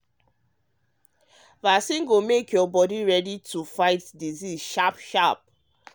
vaccine go make your body ready to to fight disease sharp sharp.